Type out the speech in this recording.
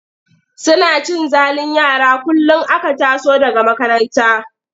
Suna cin zalin yara kullum aka taso daga makaranta.